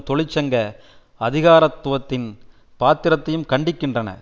தொழிற்சங்க அதிகாரத்துவத்தின் பாத்திரத்தையும் கண்டிக்கின்றன